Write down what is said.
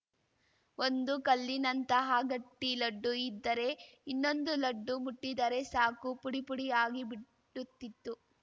ಒಂದು ಕಲ್ಲಿನಂತಹ ಗಟ್ಟಿಲಡ್ಡು ಇದ್ದರೆ ಇನ್ನೊಂದು ಲಡ್ಡು ಮುಟ್ಟಿದರೆ ಸಾಕು ಪುಡಿಪುಡಿಯಾಗಿ ಬಿಟ್ಟುತ್ತಿತ್ತು